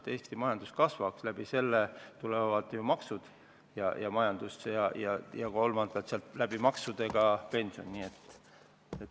Kui Eesti majandus kasvab, kasvavad ka maksud ja tänu sellele ka pension.